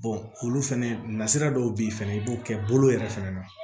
olu fɛnɛ nasira dɔw bɛ ye fɛnɛ i b'o kɛ bolo yɛrɛ fɛnɛ na